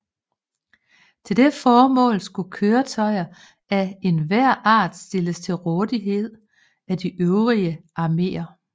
Til det formål skulle køretøjer af enhver art stilles til rådighed af de øvrige arméer